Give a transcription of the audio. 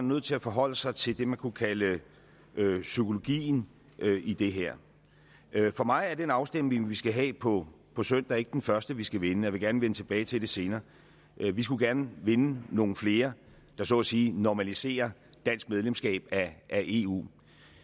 nødt til at forholde sig til det man kunne kalde psykologien i det her for mig er den afstemning vi skal have på på søndag ikke den første vi skal vinde og jeg vil gerne vende tilbage til det senere vi skulle gerne vinde nogle flere der så at sige normaliserer dansk medlemskab af eu